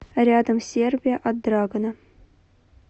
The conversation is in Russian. рядом сербия от драгана